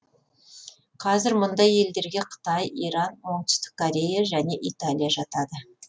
қазір мұндай елдерге қытай иран оңтүстік корея және италия жатады